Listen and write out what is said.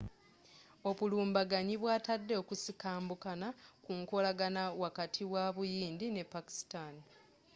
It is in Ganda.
obulumbaganyi bwatadde okusikambukana ku nkolagana wakati wa buyindi ne pakistan